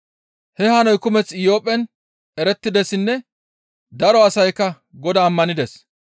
He hanoy kumeththa Iyophphen erettidessinne daro asaykka Godaa ammanides.